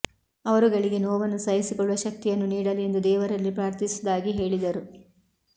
ಅವರುಗಳಿಗೆ ನೋವನ್ನು ಸಹಿಸಿಕೊಳ್ಳುವ ಶಕ್ತಿಯನ್ನು ನೀಡಲಿ ಎಂದು ದೇವರಲ್ಲಿ ಪ್ರಾರ್ಥಿಸುವುದಾಗಿ ಹೇಳಿದರು